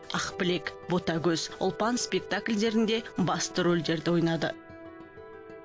ақбілек ботагөз ұлпан спектакльдерінде басты рольдерді ойнады